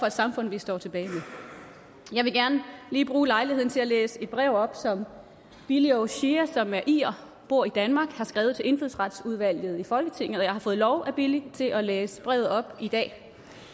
et samfund vi står tilbage med jeg vil gerne lige bruge lejligheden til at læse et brev op som billy oshea som er irer og bor i danmark har skrevet til indfødsretsudvalget i folketinget og jeg har fået lov af billy til at læse brevet op i dag